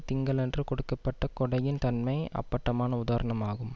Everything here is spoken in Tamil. திங்களன்று கொடுக்க பட்ட கொடையின் தன்மை அப்பட்டமான உதாரணம் ஆகும்